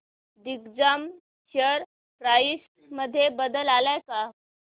Digjam share price मध्ये बदल आलाय का